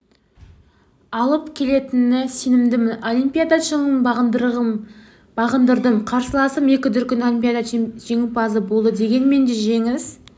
алып келетініне сенемін олимпиада шыңын бағындырдым қарсыласым екі дүркін олимпиада жеңімпазы болды дегенмен де жеңіс